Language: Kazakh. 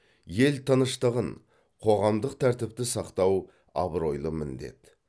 ел тыныштығын қоғамдық тәртіпті сақтау абыройлы міндет